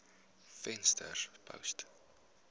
venterspost